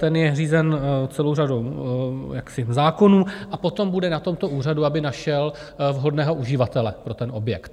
Ten je řízen celou řadou zákonů a potom bude na tomto úřadu, aby našel vhodného uživatele pro ten objekt.